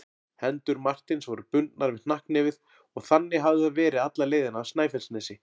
Hendur Marteins voru bundnar við hnakknefið og þannig hafði það verið alla leiðina af Snæfellsnesi.